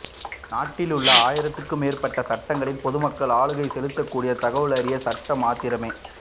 நாட்டிலுள்ள ஆயிரத்திற்கு மேற்பட்ட சட்டங்களில் பொதுமக்கள் ஆளுகை செலுத்தக்கூடியது தகவல் அறியும் சட்டம் மாத்திரமே